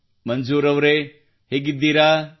ಮಂಜೂರ್ ಅವರೇ ಹೇಗಿದ್ದೀರಾ